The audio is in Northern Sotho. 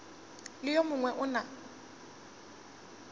le yo mongwe o na